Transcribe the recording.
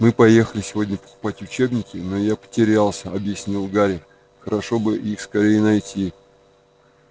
мы поехали сегодня покупать учебники но я потерялся объяснил гарри хорошо бы их скорее найти